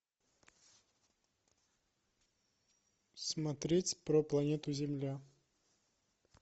смотреть про планету земля